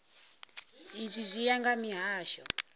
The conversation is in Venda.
izwi zwi ya nga mihasho